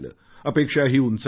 अपेक्षाही उंचावल्या